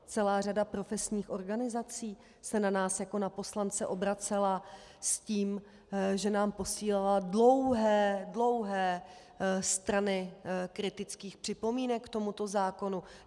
Celá řada profesních organizací se na nás jako na poslance obracela s tím, že nám posílala dlouhé, dlouhé strany kritických připomínek k tomuto zákonu.